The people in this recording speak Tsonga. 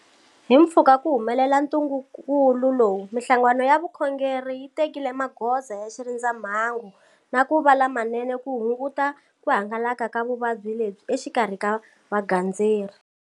Himpfhuka ku humelela ntungukulu lowu, mihlangano ya vukhongeri yi tekile magoza ya xirindza mhangu na ku va lamanene ku hunguta ku hangalaka ka vuvabyi lebyi exikarhi ka vagandzeri.